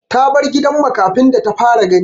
Ta bar gidan makafi da ta fara gani.